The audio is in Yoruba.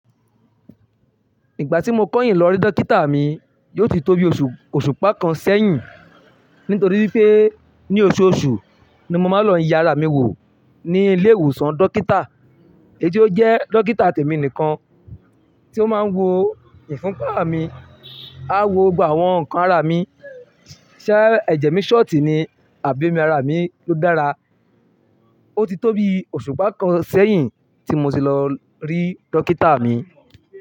Ìgbà tí mo kọ̀yìn lọ́rí dókítà mi, yóò ti tóbi òṣùpá kan sẹ́yìn. Nítorí wipé ní oṣooṣù ni mo máa ń lọ ìyà ara mi wò ní ilé ìwòsàn dókítà. Èyí tó jẹ́ dókítà tẹ̀mi nìkan tí ó máa ń wo ìfúnpá mi, á wo gbà wọ́n ǹkan ara mi. Ṣé ẹ̀jẹ̀ mi ṣọ̀tì ni? Àbí ara mi ló dára? Ó ti tó bi òṣùpá kan sẹ́yìn tí mo tì lọ rí dókítà mi.